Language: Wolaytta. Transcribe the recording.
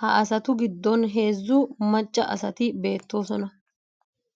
Ha asatu giddon heezzu macca asati beettoosona.